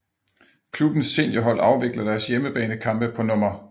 Klubbens seniorhold afvikler deres hjemmebanekampe på Nr